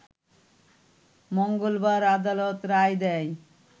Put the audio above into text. মঙ্গলবার আদালত রায় দেয়